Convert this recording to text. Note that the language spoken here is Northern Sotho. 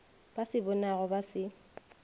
ba se bonago ba se